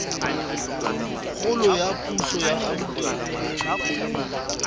kgolo la puso ya gauteng